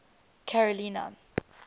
carolina